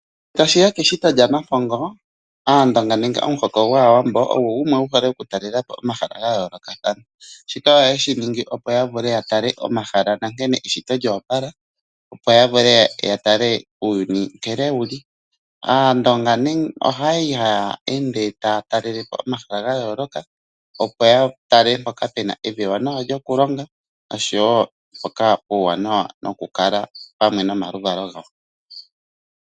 Ngele tashiya keshito lyaNampongo Aandonga nenge omuhoko gwAawambo ogo gumwe guhole okutalelapo omahala gayoolokathana. Shika ohaye shiningi opo yavule yatale omahala nankene eshito lyoopala opo yavule yatale uuyuni nkene wuli. Aandonga oyali haya ende taya talelepo omahala gayooloka opo ya tale mpoka puna evi ewanawa lyokulongo oshowo mpoka puuwanawa nokukala opamwe nomaluvalo gawo.